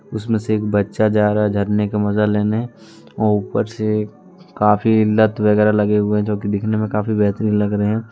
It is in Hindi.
उसमें से एक बच्चा जा रहा है झरने का मजा लेने ऊपर से काफी लत वगैरा लगे हुए जो की दिखने में काफी बेहतरीन लग रहे हैं।